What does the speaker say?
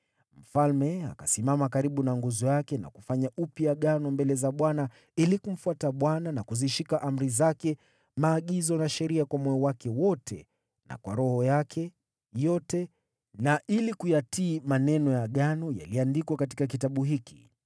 Mfalme akasimama karibu na nguzo yake na kufanya upya Agano mbele za Bwana ili kumfuata Bwana na kuzishika amri zake, maagizo na sheria kwa moyo wake wote na kwa roho yake yote na ili kuyatii maneno ya Agano yaliyoandikwa katika kitabu hiki.